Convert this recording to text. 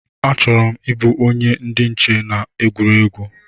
A chọrọ m ịbụ onye ndị nche n’ama egwuregwu